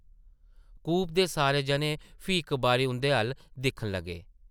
कूपे दे सारे जने फ्ही इक बारी उंʼदे अʼल्ल दिक्खन लगे ।